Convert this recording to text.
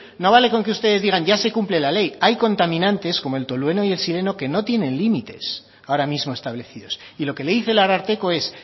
no vale con que ustedes digan ya se cumple la ley hay contaminantes como el tolueno y el xileno que no tienen límites ahora mismo establecidos y lo que le dice el ararteko es